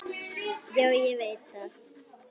Já, ég veit það!